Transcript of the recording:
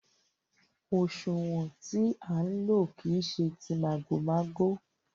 Òṣúwọ̀n tí à ń lò kìí ṣe tí màgòmágó.